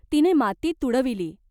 तिने माती तुडविली.